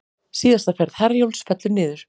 Síðasta ferð Herjólfs fellur niður